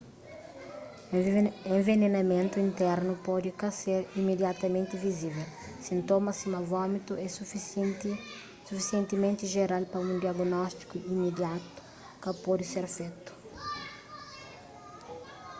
envenenamentu internu pode ka ser imidiatamenti vizível sintomas sima vómitu é sufisientimenti jeral pa un diagnóstiku imidiatu ka pode ser fetu